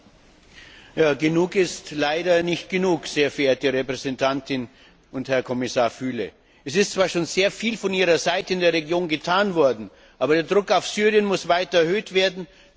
Herr Präsident! Genug ist leider nicht genug, sehr verehrte Hohe Repräsentantin und Herr Kommissar Füle. Es ist zwar schon sehr viel von Ihrer Seite in der Region getan worden, aber der Druck auf Syrien muss weiter erhöht werden.